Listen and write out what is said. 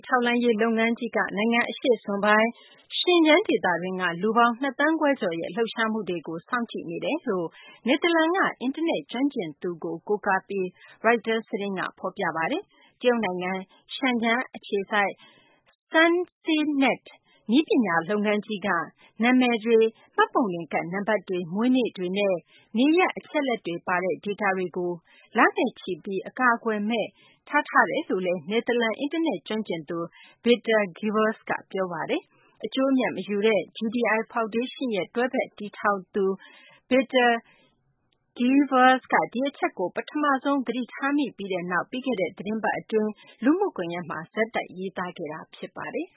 ထောက်လှမ်းရေး လုပ်ငန်းကြီးက နိုင်ငံ အရှေ့စွန်ပိုင်း Xinjiang ဒေသတွင်းက လူပေါင်း ၂ သန်းခွဲကျော်ရဲ့ လှုပ်ရှားမှုတွေကို စောင့်ကြည့်နေတယ်လို့ နယ်သာလန်က အင်တာနက် ကျွမ်းကျင်သူကိုကိုးကားပြီး ရိုက်တာ သတင်းက ဖော်ပြပါတယ်။ တရုတ်နိုင်ငံ Shenzhen အခြေစိုက် SenseNets နည်းပညာ လုပ်ငန်းကြီးက နာမည်တွေ၊ မှတ်ပုံတင်ကတ် နံပတ်တွေ၊ မွေးနေ့တွေနဲ့ နေရပ် အချက်အလက်တွေ ပါတဲ့ ဒေတာတွေကို လနဲ့ချီပြီး အကာအကွယ်မဲ့ ထားထားတယ်လို့ နယ်သာလန် အင်တာနက် ကျွမ်းကျင်သူ Victor Gevers က ပြောဆိုတာပါ။ အကျိုးအမြတ် မယူတဲ့ GDI ဖောင်ဒေးရှင်းရဲ့ တွဲဖက် တည်ထောင်သူ Victor Gevers က ဒီအချက်ကို ပထမဆုံး သတိထားမိပြီးနောက် ပြီးခဲ့တဲ့ သတင်းပတ် အတွင်း လူမှုကွန်ယက်မှာ ဆက်တိုက် ရေးသားခဲ့တာ ဖြစ်ပါတယ်